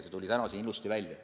See tuli täna siin ka ilusti välja.